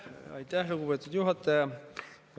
Aitäh, lugupeetud juhataja!